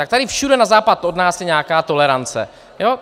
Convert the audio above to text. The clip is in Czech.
Tak tady všude na západ od nás je nějaká tolerance.